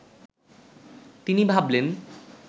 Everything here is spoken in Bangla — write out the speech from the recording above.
তিনি ভাবলেন